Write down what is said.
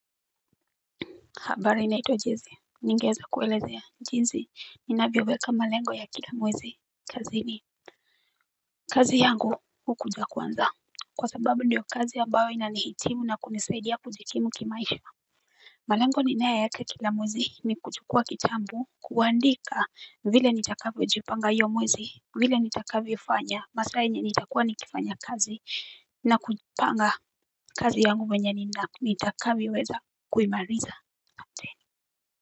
Habari naitwa jessy, ningeeza kuelezea, jinsi, ninavyoweka malengo ya kila mwezi kazini kazi yangu hukuja kwanza Kwa sababu ndiyo kazi ambayo inanihitimu na kunisaidia kujikimu kimaisha malengo ninayoeka kila mwezi ni kuchukua kitabu kuandika vile nitakavyojipanga hiyo mwezi, vile nitakavyofanya, masaa yenye nitakuwa nikifanya kazi na kupanga kazi yangu venye nitakavyoweza kuimaliza.